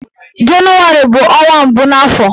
Jenụwarị bụ ọnwa mbụ n'afọ